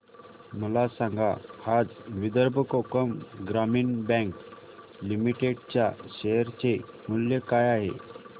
मला सांगा आज विदर्भ कोकण ग्रामीण बँक लिमिटेड च्या शेअर चे मूल्य काय आहे